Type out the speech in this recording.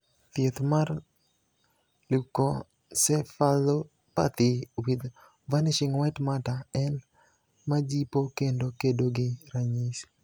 Thieth mar Leukoencephalopathy with vanishing white matter en majipo kendo kedo gi ranyisi